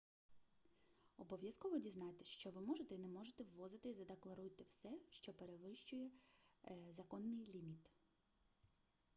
обов'язково дізнайтесь що ви можете і не можете ввозити і задекларуйте все що перевищує законний ліміт